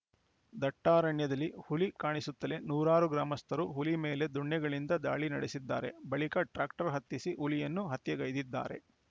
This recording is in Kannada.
ದಟ್ಟಾರಣ್ಯದಲ್ಲಿ ಹುಲಿ ಕಾಣಿಸುತ್ತಲೇ ನೂರಾರು ಗ್ರಾಮಸ್ಥರು ಹುಲಿ ಮೇಲೆ ದೊಣ್ಣೆಗಳಿಂದ ದಾಳಿ ನಡೆಸಿದ್ದಾರೆ ಬಳಿಕ ಟ್ರ್ಯಾಕ್ಟರ್‌ ಹತ್ತಿಸಿ ಹುಲಿಯನ್ನು ಹತ್ಯೆಗೈದಿದ್ದಾರೆ